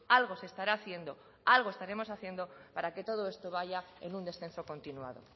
algo se estará haciendo algo estaremos haciendo para que todo esto vaya en un descenso continuado